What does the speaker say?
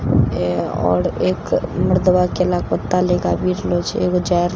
येय आओर एक मर्दवा केला के पता ले कए आवि रहल छे एगो जा रहल --